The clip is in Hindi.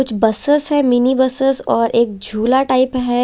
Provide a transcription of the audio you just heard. कुछ बसस है मिनी बसस और एक झुला टाइप है।